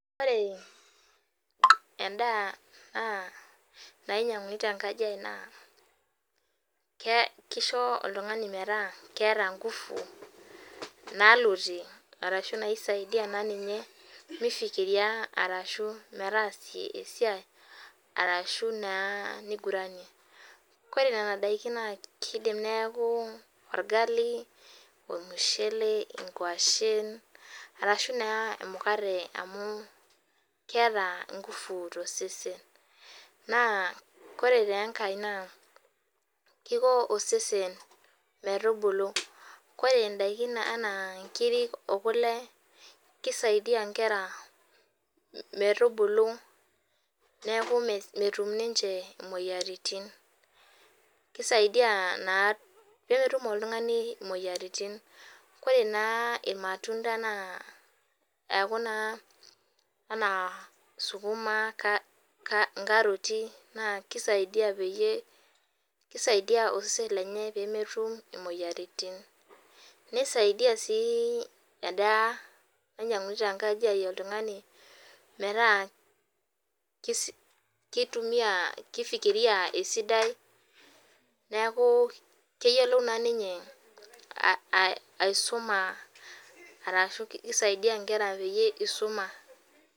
Ore endaa naa nainyianguni tenkanji ai naa kisho oltung'ani metaa keeta nguvu nalotie ashu naishaidia ninye mifikiria ashu metasa esiai ore Nena daikin naa kindim neeku orgali ormushele nkuashen arashu emukate amu keeta nguvu too sesen naa ore enkae naa Kiko osesen metubulu ore ndaki enaa nkirik oo kule keisaidia Nkera metubulu neeku metum ninche moyiaritin kisaidai naa mitum oltung'ani moyiaritin ore naa irmatunda ena sukuma nkaroti naa keisaidia pee osesen lenye pee metum emoyiaritin nisaidia endaa nainyianguane tenkanji ai metaa mifikiria esidai neeku keyiolou naa ninye aisuma arashu keisaidia Nkera pee eisuma